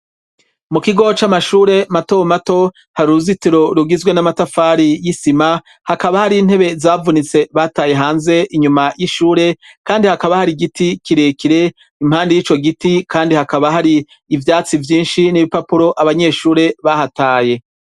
Mu kigo c'amashure mato mato hari uruzitiro rugizwe n'amatafari y'isima hakaba hari intebe zavunitse bataye hanze inyuma y'ishure kandi hakaba hari igiti kire kire impande y'ico giti kandi hakaba hari ivyatsi vyinshi n'ibipapuro abanyeshure bahataye.